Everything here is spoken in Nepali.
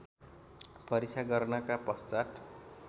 परीक्षा गर्नका पश्चात्